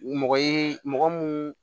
Mɔgɔ ye mɔgɔ mun